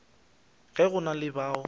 ge go na le bao